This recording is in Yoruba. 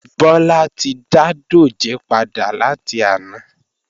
Bọ́lá ti dá dòjé padà láti àná